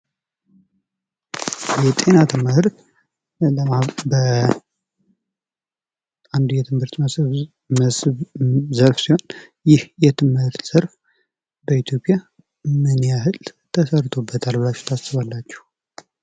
የጤና ትምህርት አንዱ የትምህርት መስህብ ዘርፍ ሲሆን ይህ የትምህርት ዘርፍ ሲሆን በኢትዮጵያ ምን ያህል ተሰርቶበታል ተብላችሁ ታስባላችሁ?